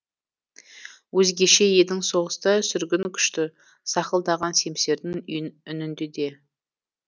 өзгеше едің соғыста сүргін күшті сақылдаған семсердің үнінде де